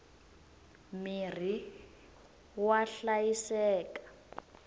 mirhi wa hlayiseka